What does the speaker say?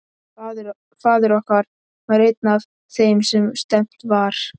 Faðir okkar var einn af þeim sem stefnt var.